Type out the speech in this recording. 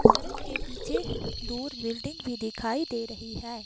सड़क के पीछे दूर बिल्डिंग भी दिखाई दे रही है।